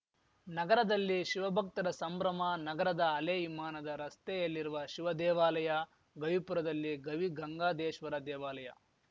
ನಗರದಲ್ಲಿ ಶಿವಭಕ್ತರ ಸಂಭ್ರಮ ನಗರದ ಹಲೇ ವಿಮಾನದ ರಸ್ತೆಯಲ್ಲಿರುವ ಶಿವ ದೇವಾಲಯ ಗವಿಪುರದಲ್ಲಿ ಗವಿಗಂಗಾದೇಶ್ವ ದೇವಾಲಯ